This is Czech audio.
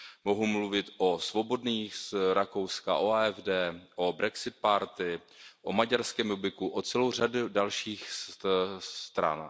Mohu mluvit o Svobodných z Rakouska, o AfD, o Brexit Party, o maďarském Jobbiku a celé řadě dalších stran.